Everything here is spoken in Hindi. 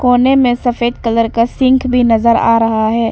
सामने में सफेद कलर का सिंक भी नजर आ रहा है।